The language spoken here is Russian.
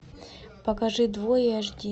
покажи двое аш ди